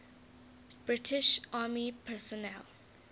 british army personnel